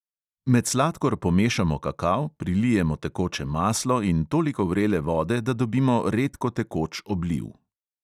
Med sladkor pomešamo kakao, prilijemo tekoče maslo in toliko vrele vode, da dobimo redkotekoč obliv.